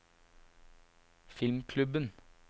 filmklubben